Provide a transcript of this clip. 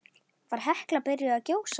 Var Hekla byrjuð að gjósa?